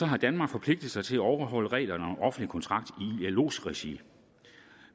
har danmark forpligtet sig til at overholde reglerne om offentlig kontrakt i ilos regi